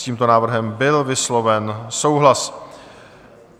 S tímto návrhem byl vysloven souhlas.